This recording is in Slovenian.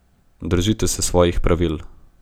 Držite se svojih pravil.